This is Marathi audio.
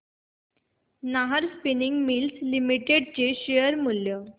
नाहर स्पिनिंग मिल्स लिमिटेड चे शेअर मूल्य